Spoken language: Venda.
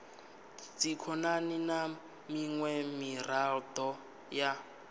dzikhonani na miṅwe miraḓo ya